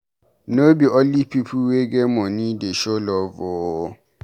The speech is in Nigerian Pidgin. No be only pipu wey get moni dey show love o.